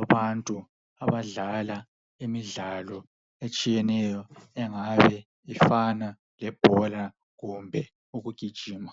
abantu abadlala imidlalo etshiyeneyo engabe ifana lebhola kumbe ukugijima.